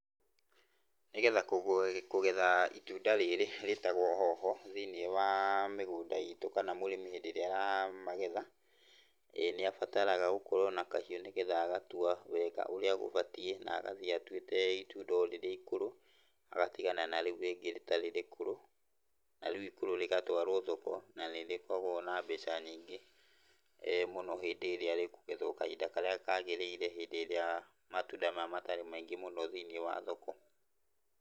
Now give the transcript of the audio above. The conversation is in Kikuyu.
Nĩgetha kũgetha itunda rĩrĩ rĩtagwo Hoho thiinĩ wa mĩgũnda itũ kana mũrĩmi hĩndĩ ĩrĩa aramagetha, nĩ abataraga gũkorwo na kahiũ nĩgetha agatua wega ũrĩa gũbatiĩ na agathiĩ atuĩte itunda o rĩrĩa ikũrũ agatigana na rĩu rĩngĩ rĩtarĩ ikũrũ. Na rĩu ikũrũ rĩgatwarwo thoko na nĩ rĩkoragwo na mbeca nyingĩ mũno hĩndĩ ĩrĩa rĩkũgethwo kahinda karĩa kagĩrĩire hĩndĩ ĩrĩa matunda maya matarĩ maingĩ thĩinĩ wa thoko.